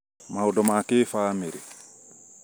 maũndũ ma kĩbamĩrĩ